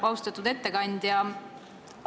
Austatud ettekandja!